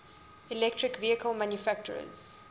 electric vehicle manufacturers